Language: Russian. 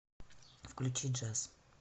включи джаз